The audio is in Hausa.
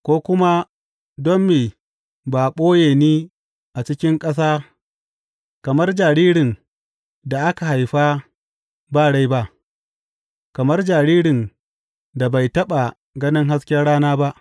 Ko kuma don me ba a ɓoye ni a cikin ƙasa kamar jaririn da aka haifa ba rai ba, kamar jaririn da bai taɓa ganin hasken rana ba.